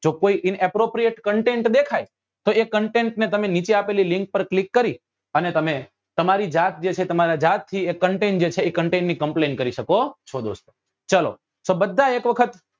જો કપી inappropriate content દેખાય તો એ content ને તમે નીચે આપેલી link પર click કરી અને તમે તમારી જાત જે છે જે તમારી જાત થી content જે છે એ content ની complain કરી શકો હો છો દોસ્તો ચાલો તો બધા એક વખત